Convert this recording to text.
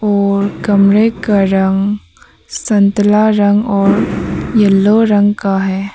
और कमरे का रंग संतला रंग और येलो रंग का है।